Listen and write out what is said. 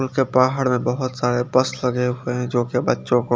कोनसे पहाड़ में बहोत सारे पर्स लगे हुए है जोकि बच्चो को--